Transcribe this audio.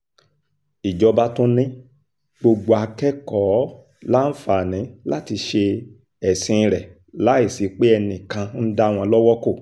ìjọba tún ni gbogbo akẹ́kọ̀ọ́ láǹfààní láti ṣe ẹ̀sìn rẹ̀ láì sí pé enìkan ń dá wọn lọ́wọ́ kò